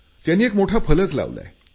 त्यांनी एक मोठा फलक लावला आहे